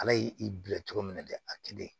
Ala y'i i bila cogo min na dɛ a kelen